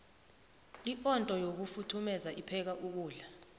iondo yokufuthumeru ipheka nokudla